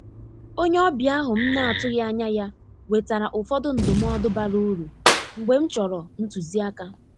Onye ọbịa ahụ m na-atụghị anya ya wetara ụfọdụ ndụmọdụ bara uru mgbe m chọrọ ntuzi aka.